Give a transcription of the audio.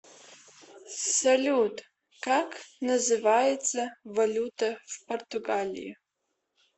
салют как называется валюта в португалии